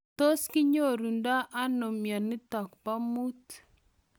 Tos kinyorundoi anoo mionitok poo muut?